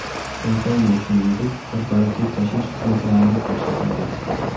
Kompaniya, shuningdek, korporativ tashish xizmatlarini ko‘rsatadi.